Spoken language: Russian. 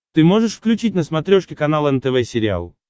ты можешь включить на смотрешке канал нтв сериал